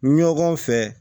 Ɲɔgɔn fɛ